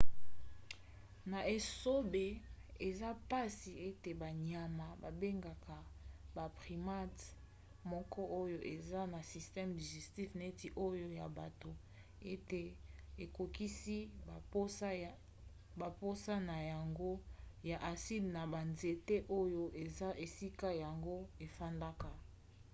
na esobe eza mpasi ete banyama babengaka baprimate moko oyo eza na système digestif neti oyo ya bato ete ekokisi bamposa na yango ya aside na banzete oyo eza esika yango efandaka